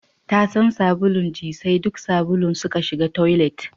Tasan sabulun ji sai duk sabulun suka shiga toilet